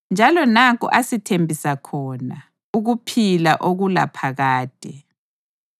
Njalo nanku asithembisa khona, ukuphila okulaphakade.